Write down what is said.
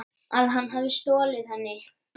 Að hann hafi stolið henni?